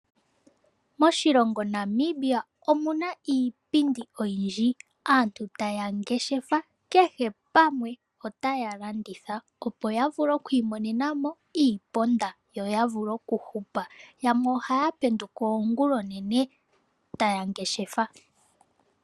Moshilongo Namibia omuna iipundi oyindji. Aantu taya ngeshefa kehe pamwe otaya landitha opo ya vule okwiimonenamo iiponda yoya vule okuhupa yamwe ohaya penduka ongula onene taya ngeshefa.